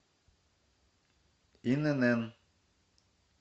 инн